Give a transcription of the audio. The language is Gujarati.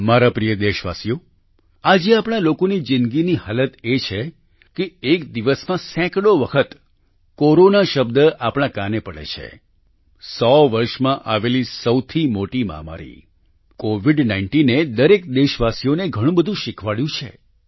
મારા પ્રિય દેશવાસીઓ આજે આપણા લોકોની જિંદગીની હાલત એ છે કે એક દિવસમાં સેંકડો વખત કોરોના શબ્દ આપણા કાને પડે છે સો વર્ષમાં આવેલી સૌથી મોટી મહામારી કોવિડ19 એ દરેક દેશવાસીઓને ઘણું બધું શિખવાડ્યું છે